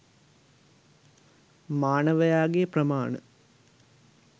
මානවයාගේ ප්‍රමාණ